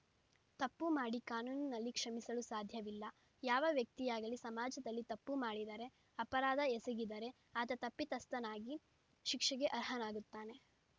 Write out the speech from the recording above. ತಪ್ಪು ಮಾಡಿ ಕಾನೂನಿನಲ್ಲಿ ಕ್ಷಮಿಸಲು ಸಾಧ್ಯವಿಲ್ಲ ಯಾವ ವ್ಯಕ್ತಿಯಾಗಲಿ ಸಮಾಜದಲ್ಲಿ ತಪ್ಪು ಮಾಡಿದರೆ ಅಪರಾಧ ಎಸಗಿದರೆ ಆತ ತಪ್ಪಿತಸ್ಥನಾಗಿ ಶಿಕ್ಷೆಗೆ ಅರ್ಹನಾಗುತ್ತಾನೆ